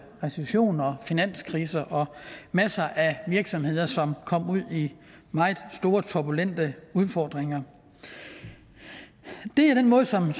recession og finanskrise og masser af virksomheder som kom ud i meget store turbulente udfordringer det er den måde som